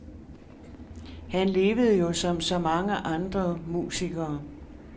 Han levede jo som så mange andre musikere.